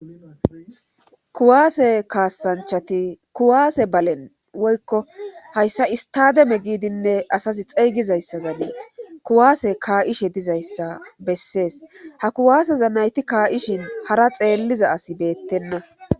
kuwaase kaasanchati kuwaase balen woykko hayssa istademe giidinne asasi xeygizayssazanee kuwaase kaa7ishe dizayssa bessees ha kuwaaseza nayti kaa7ishin hara xeelliza as beettenna